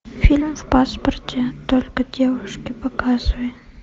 фильм в паспорте только девушки показывай